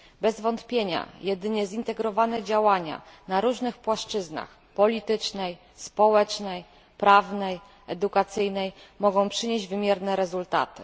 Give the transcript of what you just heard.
Bez wątpienia, jedynie zintegrowane działania na różnych płaszczyznach politycznej, społecznej, prawnej i edukacyjnej mogą przynieść wymierne rezultaty.